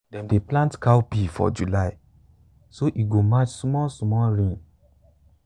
dem dey plant cowpea for july so e go match small-small rain.